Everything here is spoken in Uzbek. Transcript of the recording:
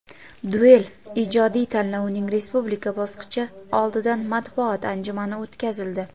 "Duel ijodiy tanlovining respublika bosqichi" oldidan matbuot anjumani o‘tkazildi.